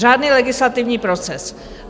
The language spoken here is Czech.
Řádný legislativní proces.